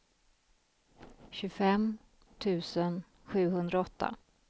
tjugofem tusen sjuhundraåtta